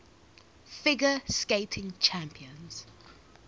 figure skating championships